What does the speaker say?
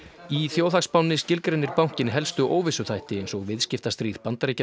í þjóðhagsspánni skilgreinir bankinn helstu óvissuþætti eins og viðskiptastríð Bandaríkjanna